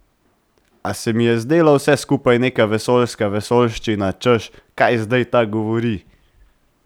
A se mi je zdelo vse skupaj neka vesoljska vesoljščina, češ: "Kaj zdaj ta govori?